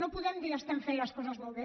no podem dir estem fent les coses molt bé